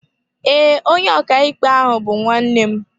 Ee, onye ọkàikpe ahụ bú nwannem